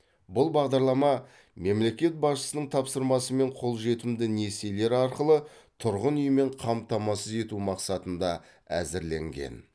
бұл бағдарлама мемлекет басшысының тапсырмасымен қолжетімді несиелер арқылы тұрғын үймен қамтамасыз ету мақсатында әзірленген